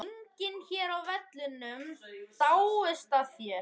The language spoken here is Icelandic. Enginn hér á vellinum dáist að þér.